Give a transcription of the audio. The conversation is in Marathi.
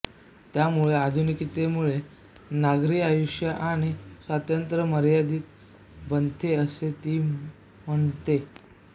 त्यामुळे आधुनिकतेमुळे नागरी आयुष्य आणि स्वातंत्र्य मर्यादित बनते असे ती म्हणते